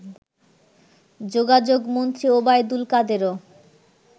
যোগাযোগমন্ত্রী Obaidul কাদেরও